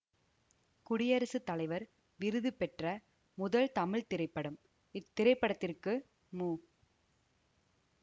குடியரசு தலைவர் விருது பெற்ற முதல் தமிழ் திரைப்படம் இத்திரைப்படத்திற்கு மு